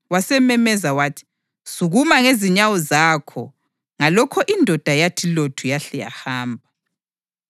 wasememeza wathi, “Sukuma ngezinyawo zakho!” Ngalokho indoda yathi lothu yahle yahamba.